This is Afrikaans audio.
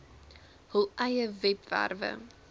hul eie webwerwe